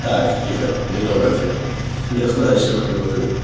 так тихо не только фен не знаю о чём я говорю